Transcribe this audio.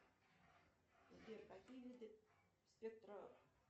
сбер какие виды спектра